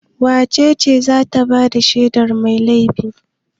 Wace ce za ta ba da shaidar mai laifi?